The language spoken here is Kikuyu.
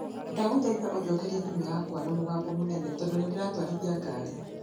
Ndagũthaitha ũnjokeria thimũ yakwa na mũgambo mũnene tondũ nindĩratwarithia ngari